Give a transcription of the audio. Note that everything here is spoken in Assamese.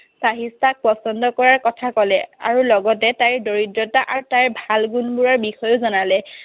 চাহিষ্ঠাক পছন্দ কৰাৰ কথা কলে। আৰু লগতে তাইৰ দৰিদ্ৰতা আৰু তাইৰ ভাল গুণবোৰৰ বিষয়েও জনালে।